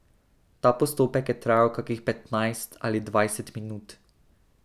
Ta postopek je trajal kakih petnajst ali dvajset minut.